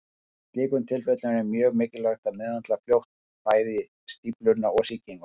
Í slíkum tilfellum er mjög mikilvægt að meðhöndla fljótt bæði stífluna og sýkinguna.